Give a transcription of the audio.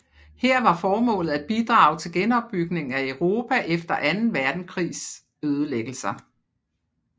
Her var formålet at bidrage til genopbygningen af Europa efter anden verdenskrigs ødelæggelser